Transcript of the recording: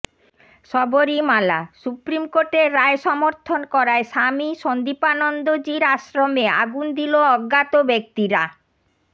সবরীমালাঃ সুপ্ৰিমকোর্টের রায় সমর্থন করায় স্বামী সন্দীপানন্দজির আশ্ৰমে আগুন দিল অজ্ঞাত ব্যক্তিরা